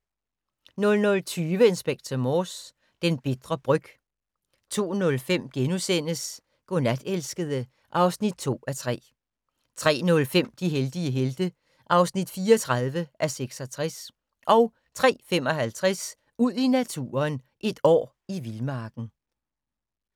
00:20: Inspector Morse: Den bitre bryg 02:05: Godnat, elskede (2:3)* 03:05: De heldige helte (34:66) 03:55: Ud i naturen: Et år i vildmarken